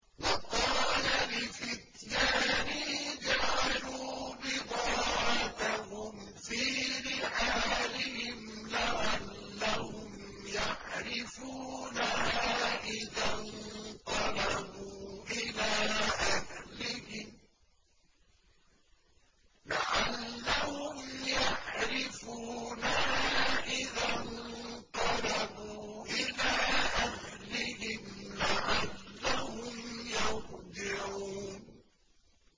وَقَالَ لِفِتْيَانِهِ اجْعَلُوا بِضَاعَتَهُمْ فِي رِحَالِهِمْ لَعَلَّهُمْ يَعْرِفُونَهَا إِذَا انقَلَبُوا إِلَىٰ أَهْلِهِمْ لَعَلَّهُمْ يَرْجِعُونَ